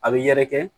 A bɛ yɛrɛkɛ